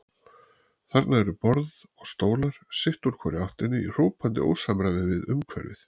Þarna eru borð og stólar sitt úr hvorri áttinni í hrópandi ósamræmi við umhverfið.